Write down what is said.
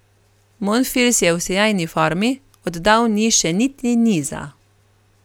Monfils je v sijajni formi, oddal ni še niti niza.